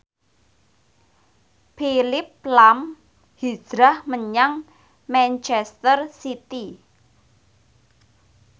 Phillip lahm hijrah menyang manchester city